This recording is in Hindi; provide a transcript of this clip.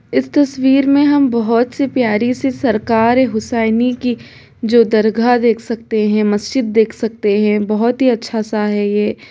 इस तस्वीर में हम बहुत सी प्यारी सी सरकार है हुसैनी की जो दरगाह देख सकते हैं मस्जिद देख सकते है बहुत ही अच्छा सा हैं ये--